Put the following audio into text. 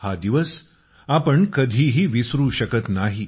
हा दिवस आपण कधीही विसरू शकत नाही